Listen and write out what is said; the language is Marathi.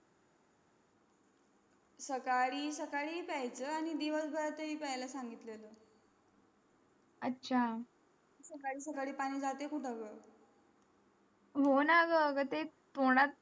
सकाळी सकाळी प्यायचा आणि आणि दिवस भर तरी पेय ला संगीत लीला आच्छा सकाळी सकाळी पाणी जात कुठं ग हो ना ग आगा ते तोंडात